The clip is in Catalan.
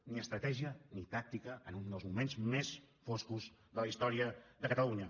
ni estratègia ni tàctica en un dels moments més foscos de la història de catalunya